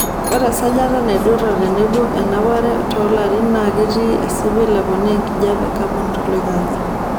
Ore esajata enaidura tenebo enapare toolorin naa ketii espil eponaa enkijiepe e kabon toloing'ang'e.